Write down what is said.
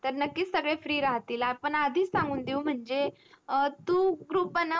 त्या नक्कीच free राहतील आपण आधीच सांगून देवू म्हणजे टू group बनव आपला